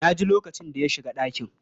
Na ji lokacin da ya shiga ɗakin.